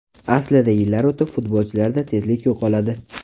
Aslida yillar o‘tib futbolchilarda tezlik yo‘qoladi.